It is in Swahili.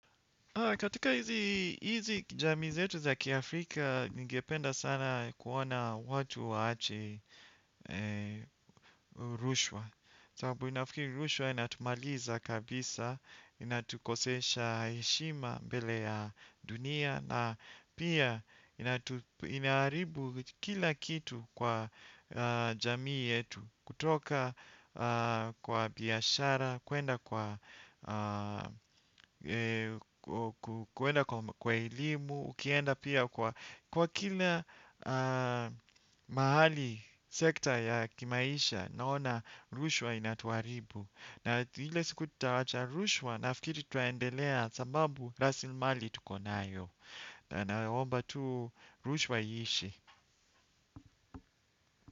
Katika hizi jamii yetu za kiafrika, ningependa sana kuona watu waache rushwa. Sababu nafikiri rushwa, inatumaliza kabisa, inatukosesha heshima mbele ya dunia, na pia inaharibu kila kitu kwa jamii yetu, kutoka kwa biashara, kuenda kwa kwa elimu, ukienda pia kwa kila mahali, sekta ya kimaisha, naona rushwa inatuharibu. Na ile siku tutawacha rushwa nafikiri tutaaendelea sababu kwa rasilmali tukona nayo. Na naomba tu rushwa iishe.